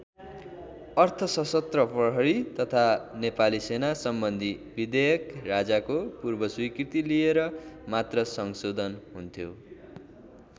अर्थ सशस्त्र प्रहरी तथा नेपाली सेना सम्बन्धि विधेयक राजाको पूर्वस्वीकृति लिएर मात्र संशोधन हुन्थ्यो।